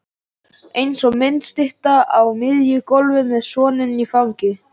Framvísaðu því bréfi í lögréttu innan stundar.